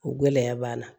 O gɛlɛya b'an na